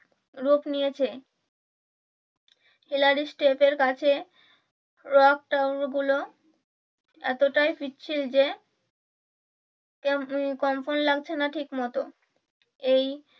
রূপ নিয়েছে খিলাড়ি step এর কাছে গুলো এতটাই পিচ্ছিল যে কম্পন লাগছেনা ঠিক মতো এই